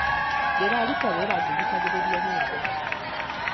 Ndĩraruta wĩra ngĩthikagĩrĩria nyĩmbo